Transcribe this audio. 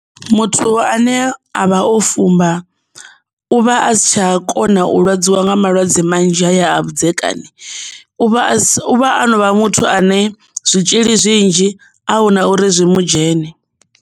Muthu ane avha o fumba uvha a si tsha kona u lwadzIwa nga malwadze manzhi a ya a vhudzekani u vha ano vha muthu ane zwitzhili zwinzhi ahuna uri zwi mu dzheni.